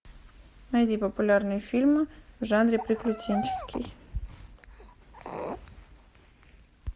найди популярные фильмы в жанре приключенческий